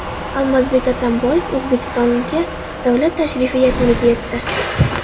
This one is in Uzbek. Almazbek Atamboyevning O‘zbekistonga davlat tashrifi yakuniga yetdi.